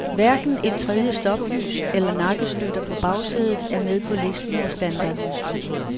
Hverken et tredje stoplys eller nakkestøtter på bagsædet er med på listen over standardudstyr.